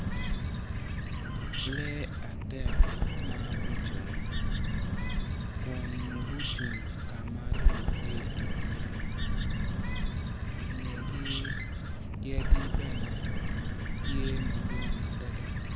Lee adek ma gucung kun gucung ka ma lum tye iye ingegi yadi bene tye madwong adada.